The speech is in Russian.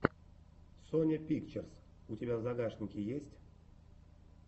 соня пикчерз у тебя в загашнике есть